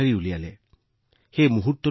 আপুনি আমাৰ কাম পৃথিৱীৰ সন্মুখলৈ আনিছিল